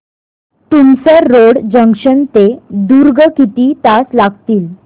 Tumsar road junction ते दुर्ग किती तास लागतील